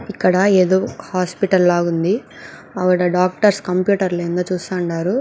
ఇక్కడ ఏదో హాస్పిటల్ లాగుంది. ఆవిడ డాక్టర్స్ కంప్యూటర్లు చూస్తూ ఉండారు.